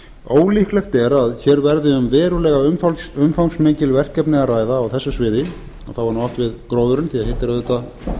ólíklegt er að hér verði um verulega umfangsmikil verkefni að ræða á þessu sviði og þá er nú átt við gróðurinn því hitt er auðvitað